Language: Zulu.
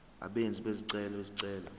abenzi bezicelo izicelo